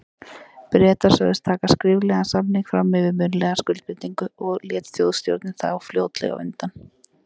Bretar sögðust taka skriflegan samning fram yfir munnlega skuldbindingu, og lét Þjóðstjórnin þá fljótlega undan.